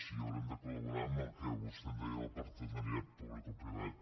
i haurem de col·laborar amb el que vostè en deia el partenariat publicoprivat